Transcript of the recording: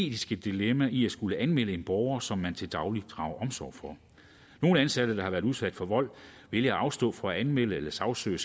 etiske dilemma i at skulle anmelde en borger som man til daglig drager omsorg for nogle ansatte der har været udsat for vold vælger at afstå fra at anmelde eller sagsøge